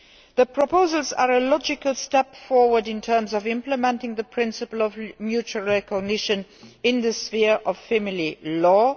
The proposals are a logical step forward in terms of implementing the principle of mutual recognition in the sphere of family law.